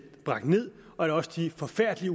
bragt ned og at også de forfærdelige